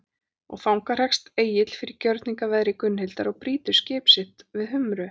Og þangað hrekst Egill fyrir gjörningaveðri Gunnhildar og brýtur skip sitt við Humru mynni.